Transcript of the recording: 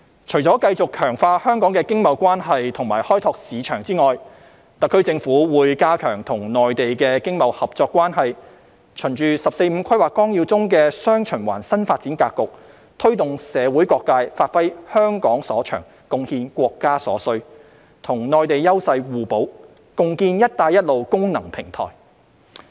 除了繼續強化香港的經貿關係及開拓市場外，特區政府會加強與內地的經貿合作關係，循《十四五規劃綱要》中的"雙循環"新發展格局，推動社會各界發揮香港所長，貢獻國家所需，與內地優勢互補，共建"一帶一路"功能平台。